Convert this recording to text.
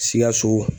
Sikaso